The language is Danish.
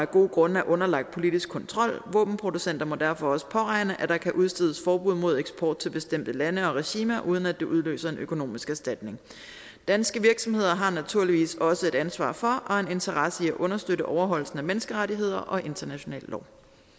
gode grunde er underlagt politisk kontrol våbenproducenter må derfor også påregne at der kan udstedes forbud mod eksport til bestemte lande og regimer uden at det udløser en økonomisk erstatning danske virksomheder har naturligvis også et ansvar for og en interesse i at understøtte overholdelsen af menneskerettigheder og international lov